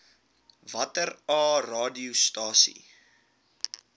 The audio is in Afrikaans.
watter aa radiostasies